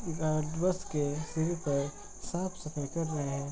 बस के सीढ़ी पर साफ़ सफाई कर रहे हैं |